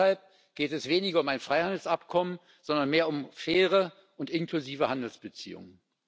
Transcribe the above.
Deshalb geht es weniger um ein Freihandelsabkommen, sondern mehr um faire und inklusive Handelsbeziehungen.